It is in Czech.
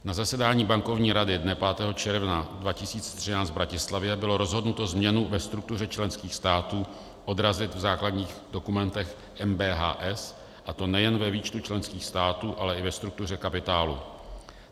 Na zasedání bankovní rady dne 5. června 2013 v Bratislavě bylo rozhodnuto změnu ve struktuře členských států odrazit v základních dokumentech MBHS, a to nejen ve výčtu členských států, ale i ve struktuře kapitálu.